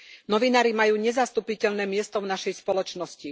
Novinári majú nezastupiteľné miesto v našej spoločnosti.